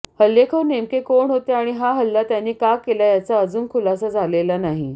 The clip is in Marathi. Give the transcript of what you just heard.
हल्लेखोर नेमके कोण होते आणि हा हल्ला त्यांनी का केला याचा अजून खुलासा झालेला नाही